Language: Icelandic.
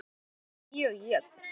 Hún gæti orðið mjög jöfn.